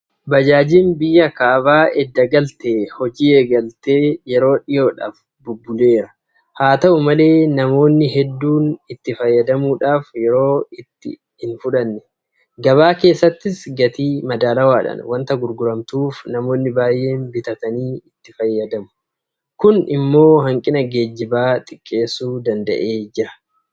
Baajaajiin biyya kaba edda galtee hojii eegaltee yeroo dhiyoodhaaf bubbuleera. Haata'u malee namoonni hedduun itti fayyadamuudhaaf yeroo itti hinfudhanne. Gabaa keessattis gatii madaalawaadhaan waanta gurguramtuuf namoonni baay'een bitanii itti fayyadamu. Kun immoo hanqina geejibaa xiqqeessuu danda'eer.